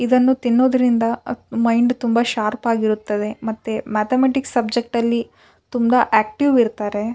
ತಿನ್ನುದರಿಂದ ಅ ಮೈಂಡ್ ತುಂಬ ಶಾರ್ಪ್ ಆಗಿರುತ್ತದೆ ಮತ್ತೆ ಮೆಥಮ್ಯಾಟಿಕ್ಸ್ ಸಬ್ಜೆಕ್ಟ್ ಅಲ್ಲಿ ತುಂಬ ಆಕ್ಟಿವ್ ಇರ್ತಾರೆ.